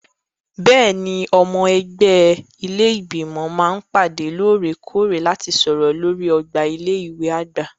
Bẹ́ẹ̀ni, àwọn ọmọ ẹgbẹ́ ilé Ìgbìmọ̀ máa ń pàdé lóòrè-kóòrè láti sọ̀rọ̀ lórí ọgbà ilé ìwé àgbà.